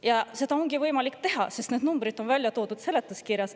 Ja seda ongi võimalik teha, sest need numbrid on toodud seletuskirjas.